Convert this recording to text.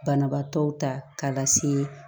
Banabaatɔw ta k'a lase